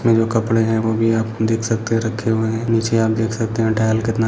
ये जो कपड़े हैं वो भी आप देख सकते हैं रखे हुए हैं। नीचे आप देख सकते हैं कितना --